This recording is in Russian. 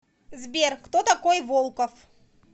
сбер кто такой волков